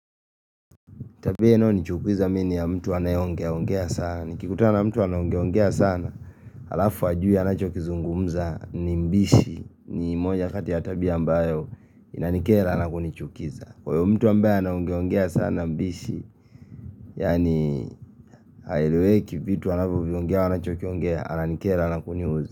Tabia inayonichukiza mim ni ya mtu anayeongeaongea sana Nikikutana na mtu anaongeaongea sana alafu hajui anachokizungumza ni mbishi ni moja kati ya tabia ambayo inanikera na kunichukiza Kwa hiyo mtu ambaye anaongeongea sana mbishi Yaani haeleweki vitu anavyoviongea anachokiongea ananikera na kuniudhi.